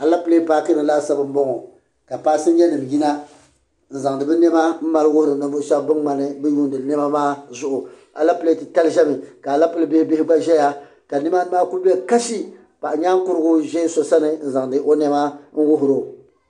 Alɛpilɛ paaki ni laasabu n bɔŋo ka paasinja nima yina n zaŋ di bi nɛma mali wuhiri ninvuɣu shɛba ban ŋmani bi yuuni nɛma maa zuɣu ka alɛpilɛ titali ʒɛ ni ka alɛpilɛ bihi gba ʒɛya ka ni maa ku bɛ kashi paɣanyaankurugu ʒɛ so sani n zaŋ di o nɛma wuhiri o.